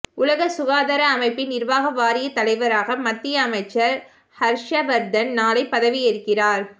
உலக சுகாதார அமைப்பின் நிர்வாக வாரிய தலைவராக மத்திய அமைச்சர் ஹர்ஷவர்தன் நாளை பதவியேற்கிறார்